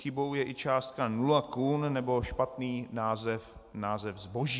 Chybou je i částka nula kun nebo špatný název zboží.